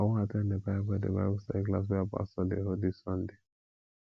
i wan at ten d the bible the bible study class wey our pastor dey hold dis sunday